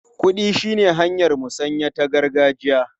Kuɗi shine hanyar musanya ta gargajiya.